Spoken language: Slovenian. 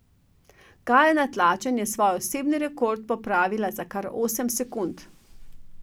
Gaja Natlačen je svoj osebni rekord popravila kar za osem sekund.